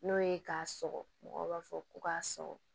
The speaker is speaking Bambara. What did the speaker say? N'o ye k'a sɔgɔ mɔgɔw b'a fɔ ko k'a sɔgɔ